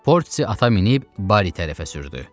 Porsi ata minib Bari tərəfə sürdü.